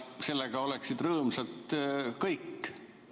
Sellega oleksid rõõmsad kõik.